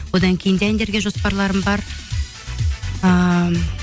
одан кейін де әндерге жоспарларым бар ыыы